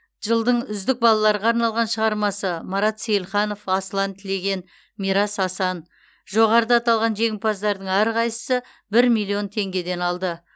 жылдың үздік балаларға арналған шығармасы марат сейілханов асылан тілеген мирас асан жоғарыда аталған жеңімпаздардың әрқайсысы бір миллион теңгеден алды